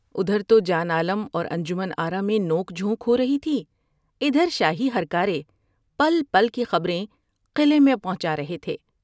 ادھر تو جان عالم اور انجمن آرا میں نوک جھونک ہورہی تھی ادھر شاہی ہر کارے پل پل کی خبر میں قلعے میں پہنچا رہے تھے ۔